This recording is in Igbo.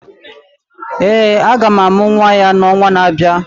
Ee, a ga-amụ nwa ya n’ọnwa na-abịa.